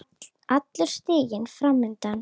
Allur stiginn fram undan.